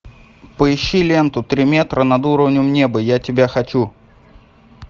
поищи ленту три метра над уровнем неба я тебя хочу